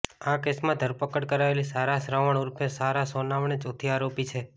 આ કેસમાં ધરપકડ કરાયેલી સારા શ્રવણ ઉર્ફે સારા સોનાવણે ચોથી આરોપી છે